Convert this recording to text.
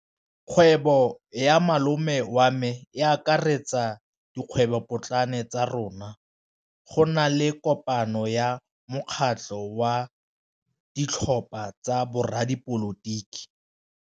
Kgwêbô ya malome wa me e akaretsa dikgwêbôpotlana tsa rona. Go na le kopanô ya mokgatlhô wa ditlhopha tsa boradipolotiki.